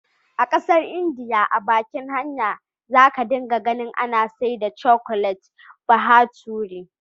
A ƙasar India a bakin hanya za ka dinga ganin ana saida cakulet bahature,.